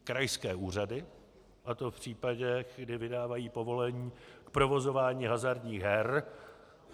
Krajské úřady, a to v případech, kdy vydávají povolení k provozování hazardních her.